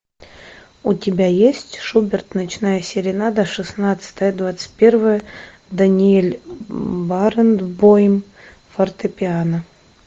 у тебя есть шуберт ночная серенада шестнадцатая двадцать первая даниэль баренбойм фортепиано